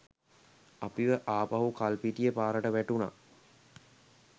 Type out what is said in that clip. අපිව ආපහු කල්පිටිය පාරට වැටුන.